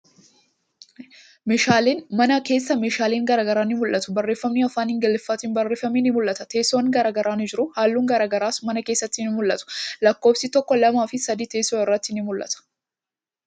Mana keessa meeshaalen garagaraa ni mul'atu. Barreeffamni afaan Ingiliffaatin barreeffame ni mul'ata. Teessoon garagaraa ni jira. Halluun garagaraa mana keessatti ni mul'atu. Lakkoofsi tokko, lamaa fi sadi teessoo irratti ni mul'ata.